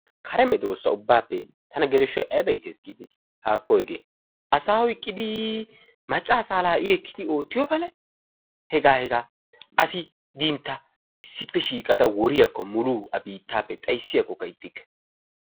Kare meedosa ubbaappe tana geleshshoy ayba iittees giideti! haakko hegee asaa oyqqiidi maacca asaa i ekkidi oottiyoo palay hegaa hegaa asi diin ta issippe shiiqqada woriyaakko a biittappe xayssiyaakokka ixxikke.